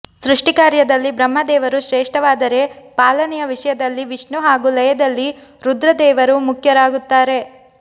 ಸೃಷ್ಟಿಕಾರ್ಯದಲ್ಲಿ ಬ್ರಹ್ಮದೇವರು ಶ್ರೇಷ್ಠವಾದರೆ ಪಾಲನೆಯ ವಿಷಯದಲ್ಲಿ ವಿಷ್ಣು ಹಾಗೂ ಲಯದಲ್ಲಿ ರುದ್ರದೇವರು ಮುಖ್ಯರಾಗುತ್ತಾರೆ